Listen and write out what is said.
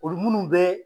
Olu munnu bɛ